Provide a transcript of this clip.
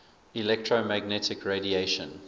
electromagnetic radiation